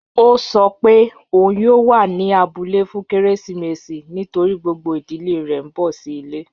Ọ̀ sọ́ pé ọun yóò wà ní àbúlẹ̀ fún kérésìmésì nítorí gbogbo ìdílẹ̀ rẹ̀ n bọ̀ sí ilẹ̀.